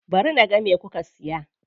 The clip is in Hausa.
Ba ni naga me kuka siya.